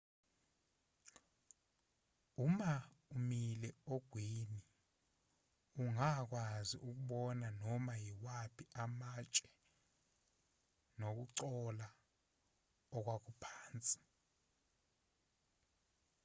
uma umile ogwini ungakwazi ukubona noma yimaphi amatshe nokugcola okwakuphansi